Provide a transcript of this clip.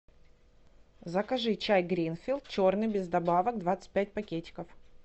закажи чай гринфилд черный без добавок двадцать пять пакетиков